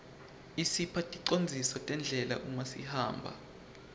isipha ticondziso tendlela uma sihamba